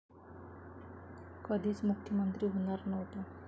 कधीच मुख्यमंत्री होणार नव्हतो'